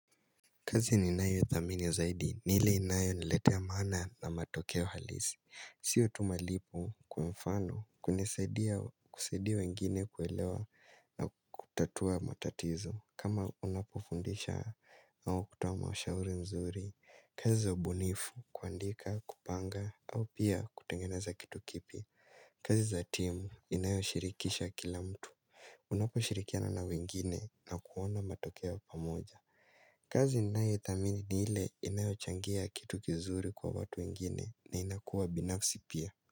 Kazi ninayo dhamini zaidi nile inayo niletea maana na matokeo halisi sio tu malipo kwa mfano kunisaidia kusaidia wengine kuelewa na kutatua matatizo kama unapofundisha au kutoa mashauri mzuri kazi za ubunifu kuandika kupanga au pia kutengeneza kitu kipya kazi za timu inayo shirikisha kila mtu Unapo shirikiana na wengine na kuona matokeo pamoja kazi ninayo ithamini ni ile inayo changia kitu kizuri kwa watu wengine na inakuwa binafisi pia.